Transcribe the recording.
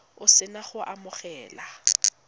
o se na go amogela